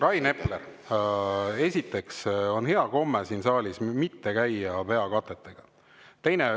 Rain Epler, esiteks on hea komme mitte käia siin saalis peakattega.